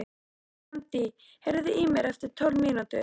Randí, heyrðu í mér eftir tólf mínútur.